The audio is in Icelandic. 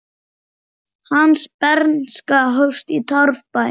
Hans bernska hófst í torfbæ.